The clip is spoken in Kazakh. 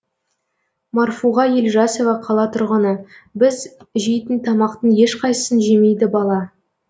марфуға елжасова қала тұрғыны біз жейтін тамақтың ешқайсысын жемейді бала